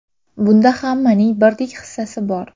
Bunda hammaning birdek hissasi bor.